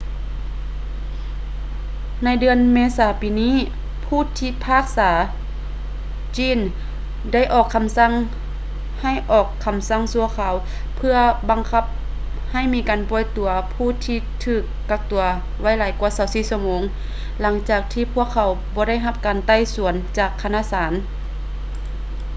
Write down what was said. ໃນເດືອນເມສາປີນີ້ ຜູ້ພິພາກສາ glynn ໄດ້ອອກຄໍາສັ່ງໃຫ້ອອກຄໍາສັ່ງຊົ່ວຄາວເພື່ອບັງຄັບໃຫ້ມີການປ່ອຍຕົວຜູ້ທີ່ຖືກກັກຕົວໄວ້ຫຼາຍກວ່າ 24 ຊົ່ວໂມງຫຼັງຈາກທີ່ພວກເຂົາບໍ່ໄດ້ຮັບການໄຕ່ສວນຈາກຄະນະສານ